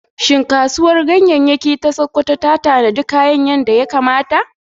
Shin Kasuwar Ganyayyaki ta Sakkwato ta tanadi kayan yadda ya kamata?